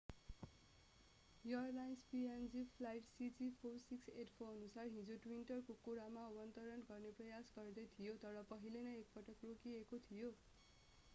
Airlines png flight cg4684अनुसार हिजो twin otter कोकोडामा अवतरण गर्ने प्रयास गर्दै थियो तर पहिले नै एकपटक रोकिएको थियो।